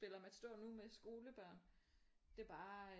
Spiller Matador nu med skolebørn det er bare